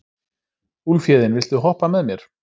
Úlfhéðinn, viltu hoppa með mér?